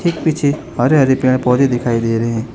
पीछे हरे हरे पेड़ पौधे दिखाई दे रहे हैं।